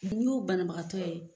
y'o bana bagatɔ ye.